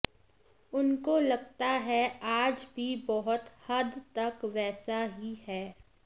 उनको लगता है आज भी बहुत हद तक वैसा ही है